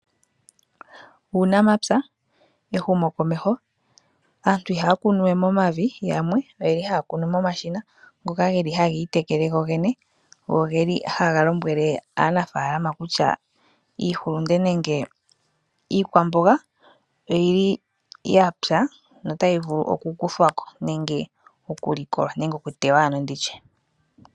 Uunamapya, ehumokomeho Aantu ihaya kunu we momavi. Yamwe ohaya kunu momashina ngoka haga tekele gogene go ohaga lombwele aanafaalama kutya iihulunde nenge iikwamboga oya pya notayi vulu oku kuthwa ko nenge oku likolwa nenge oku teywa.